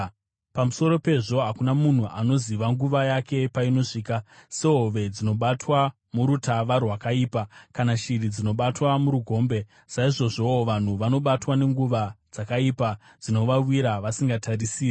Pamusoro pezvo hakuna munhu anoziva nguva yake painosvika: Sehove dzinobatwa murutava rwakaipa, kana shiri dzinobatwa murugombe, saizvozvowo vanhu vanobatwa nenguva dzakaipa dzinovawira vasingatarisire.